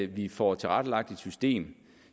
vi får tilrettelagt et system